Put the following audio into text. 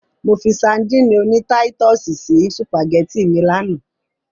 Mo fi sadíìnì oní táítọ̀sì sí sùpàgẹ́tì mi lánàá.